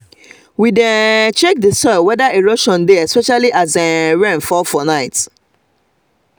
we dey um check the soil wether erosion dey especially as um rain um fall for night